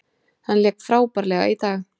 Hann lék frábærlega í dag.